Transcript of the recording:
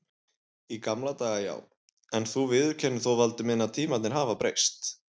Í gamla daga já, en þú viðurkennir þó Valdi minn að tímarnir hafa breyst.